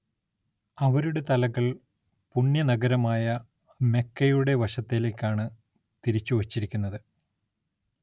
അവരുടെ തലകൾ പുണ്യ നഗരമായ മെക്കയുടെ വശത്തിലേക്കാണ് തിരിച്ചു വച്ചിരിക്കുന്നത്.